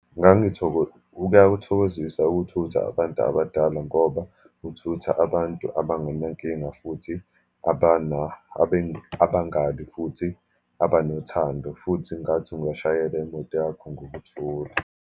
Kuyakuthokozisa ukuthutha abantu abadala, ngoba uthutha abantu abangenankinga, futhi abangalwi, futhi abanothando, futhi ngathi ungashayele imoto yakho ngokuthula.